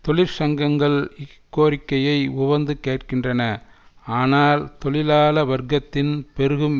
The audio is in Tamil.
தொழிற்சங்கங்கள் இக்கோரிக்கையை உவந்து கேட்கின்றன ஆனால் தொழிலாள வர்க்கத்தின் பெருகும்